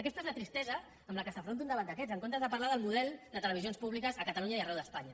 aquesta és la tristesa amb què s’afronta un debat d’aquests en comptes de parlar del model de televisions públiques a catalunya i arreu d’espanya